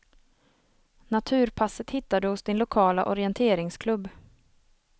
Naturpasset hittar du hos din lokala orienteringsklubb.